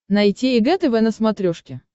найти эг тв на смотрешке